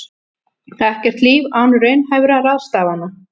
Ekkert líf án raunhæfra ráðstafana